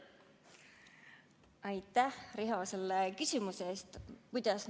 Aitäh, Riho, selle küsimuse eest!